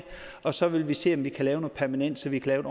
og så vil vi se om vi kan lave noget permanent så vi kan lave